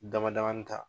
Damadamanin ta